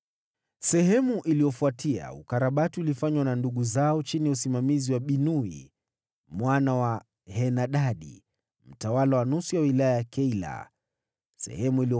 Baada yake, ukarabati ulifanywa na ndugu zao chini ya usimamizi wa Binui mwana wa Henadadi, mtawala wa nusu hiyo ingine ya wilaya ya Keila.